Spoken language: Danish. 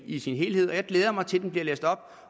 i sin helhed og jeg glæder mig til at det bliver læst op